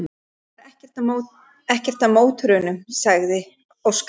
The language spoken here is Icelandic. Það er ekkert að mótornum, sagði Óskar.